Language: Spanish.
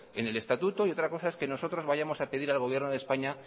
en el estatuto y otra cosa es que nosotros vayamos a pedir al gobierno de españa